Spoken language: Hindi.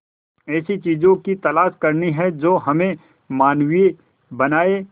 ऐसी चीजों की तलाश करनी है जो हमें मानवीय बनाएं